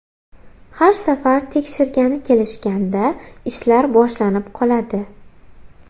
Har safar tekshirgani kelishganda ishlar boshlanib qoladi.